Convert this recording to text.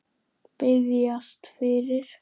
Biðjast fyrir?